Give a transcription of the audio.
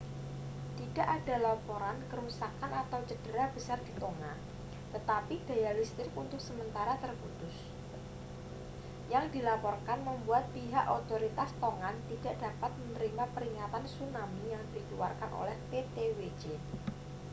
tidak ada laporan kerusakan atau cedera besar di tonga tetapi daya listrik untuk sementara terputus yang dilaporkan membuat pihak otoritas tongan tidak dapat menerima peringatan tsunami yang dikeluarkan oleh ptwc